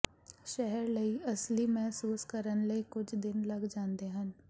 ਸ਼ਹਿਰ ਲਈ ਅਸਲੀ ਮਹਿਸੂਸ ਕਰਨ ਲਈ ਕੁਝ ਦਿਨ ਲੱਗ ਜਾਂਦੇ ਹਨ